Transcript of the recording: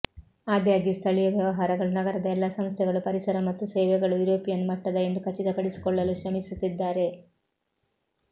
ಆದಾಗ್ಯೂ ಸ್ಥಳೀಯ ವ್ಯವಹಾರಗಳು ನಗರದ ಎಲ್ಲಾ ಸಂಸ್ಥೆಗಳು ಪರಿಸರ ಮತ್ತು ಸೇವೆಗಳು ಯುರೋಪಿಯನ್ ಮಟ್ಟದ ಎಂದು ಖಚಿತಪಡಿಸಿಕೊಳ್ಳಲು ಶ್ರಮಿಸುತ್ತಿದ್ದಾರೆ